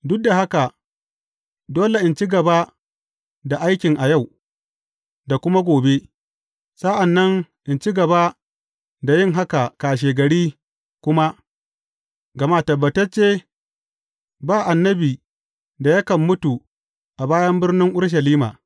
Duk da haka, dole in ci gaba da aikin a yau, da kuma gobe, sa’an nan in ci gaba da yin haka kashegari kuma, gama tabbatacce, ba annabi da yakan mutu a bayan birnin Urushalima!’